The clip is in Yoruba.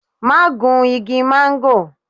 Ma gún igi máńgò